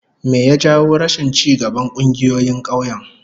Me ya jawo rashin ci gaban kungiyoyin kauyen?